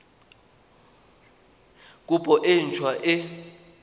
kopo e nt hwa e